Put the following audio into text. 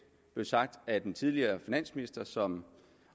blev sagt af den tidligere finansminister som